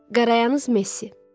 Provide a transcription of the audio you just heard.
Qarayanyaz Messi.